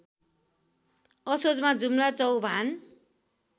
असोजमा जुम्ला चौभान